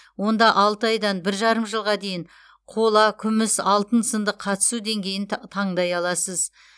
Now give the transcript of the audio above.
онда алты айдан бір жарым жылға дейін қола күміс алтын сынды қатысу деңгейін та таңдай аласыз